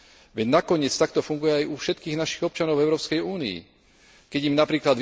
Veď nakoniec tak to funguje aj u všetkých našich občanov v Európskej únii, keď im napr.